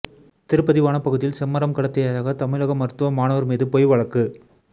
திருப்பதி வனப்பகுதியில் செம்மரம் கடத்தியதாக தமிழக மருத்துவ மாணவர் மீது பொய் வழக்கு